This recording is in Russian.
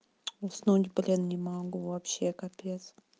уснуть блин не могу вообще капец